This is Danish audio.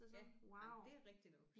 Ja jamen det er rigtigt nok